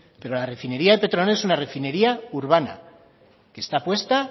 pero la refinería de petronor es una refinería urbana que está puesta